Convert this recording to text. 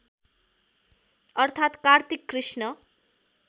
अर्थात् कार्तिक कृष्ण